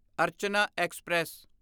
Archana express